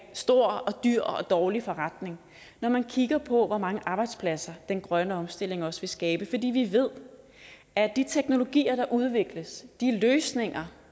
stor og dyr og dårlig forretning når man kigger på hvor mange arbejdspladser den grønne omstilling også vil skabe fordi vi ved at de teknologier der udvikles at de løsninger